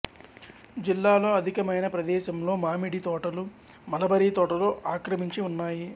జిల్లాలో అధికమైన ప్రదేశంలో మామిడి తోటలు మలబరీ తోటలు ఆక్రమించి ఉన్నాయి